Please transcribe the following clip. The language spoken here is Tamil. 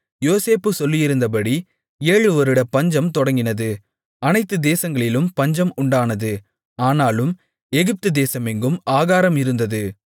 யோசேப்பு சொல்லியிருந்தபடி ஏழுவருட பஞ்சம் தொடங்கினது அனைத்துதேசங்களிலும் பஞ்சம் உண்டானது ஆனாலும் எகிப்துதேசமெங்கும் ஆகாரம் இருந்தது